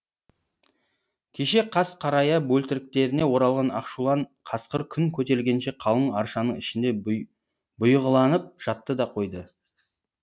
кеше қас қарая бөлтіріктеріне оралған ақшулан қасқыр күн көтерілгенше қалың аршаның ішінде бұйығыланып жатты да қойды